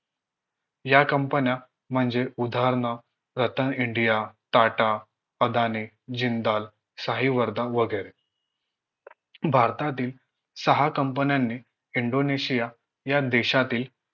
या company न्या म्हणजे उदाहरण रतन इंडिया टाटा अदानी जिंदाल साहीवरदा वगैरे भारतातील सहा company न्यानी इंडोनेशिया या देशातील